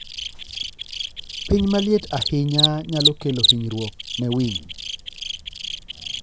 Piny maliet ahinya nyalo kelo hinyruok ne winy.